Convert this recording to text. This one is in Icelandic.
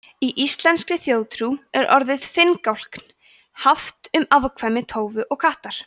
í íslenskri þjóðtrú er orðið finngálkn haft um afkvæmi tófu og kattar